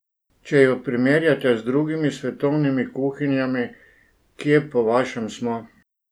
Če ju primerjate z drugimi svetovnimi kuhinjami, kje, po vašem, smo?